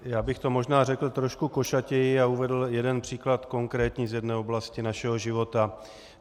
Já bych to možná řekl trochu košatěji a uvedl jeden příklad konkrétní z jedné oblasti našeho života.